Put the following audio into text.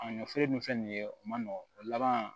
A ɲɔfini dun filɛ nin ye o man nɔgɔn o laban